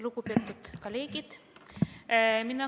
Lugupeetud kolleegid!